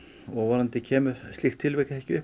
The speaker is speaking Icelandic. og vonandi kemur slíkt tilvik ekki upp